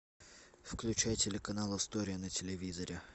включай телеканал история на телевизоре